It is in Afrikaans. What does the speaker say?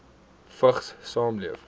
vigs saamleef